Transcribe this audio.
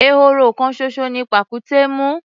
Ehoro kan ṣoṣo ni pàkúté mú.